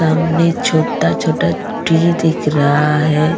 सामने छोटा-छोटा टी दिख रहा है.